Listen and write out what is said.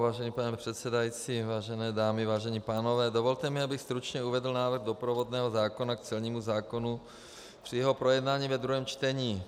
Vážený pane předsedající, vážené dámy, vážení pánové, dovolte mi, abych stručně uvedl návrh doprovodného zákona k celnímu zákonu při jeho projednání ve druhém čtení.